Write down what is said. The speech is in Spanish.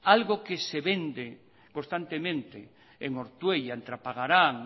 algo que se vende constantemente en ortuella en trapagaran